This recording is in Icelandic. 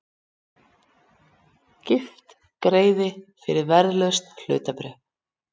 Gift greiði fyrir verðlaus hlutabréf